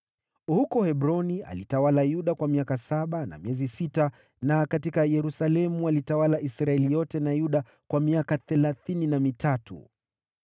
Huko Hebroni alitawala Yuda kwa miaka saba na miezi sita, na katika Yerusalemu alitawala Israeli yote na Yuda kwa miaka thelathini na mitatu.